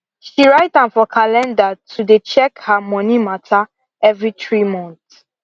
she write am for calendar to dey check her money matter every 3 month